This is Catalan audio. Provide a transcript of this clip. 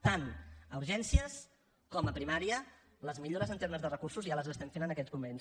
tant a urgències com a primària les millores en termes de recursos ja les estem fent en aquests moments